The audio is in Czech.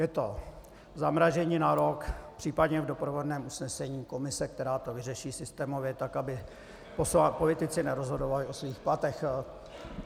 Je to zamrazení na rok, případně v doprovodném usnesení komise, která to vyřeší systémově tak, aby politici nerozhodovali o svých platech.